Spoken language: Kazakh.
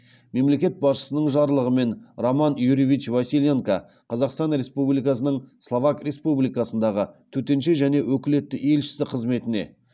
мемлекет басшысының жарлығымен роман юрьевич василенко қазақстан республикасының словак республикасындағы төтенше және өкілетті елшісі қызметіне